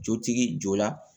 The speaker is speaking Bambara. Jotigi jɔ la